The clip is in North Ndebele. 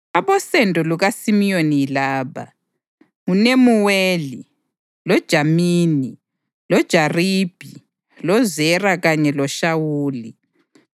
Abosendo lukaSimiyoni yilaba: nguNemuweli, loJamini, loJaribhi, loZera kanye loShawuli;